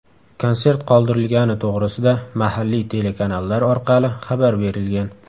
Konsert qoldirilgani to‘g‘risida mahalliy telekanallar orqali xabar berilgan.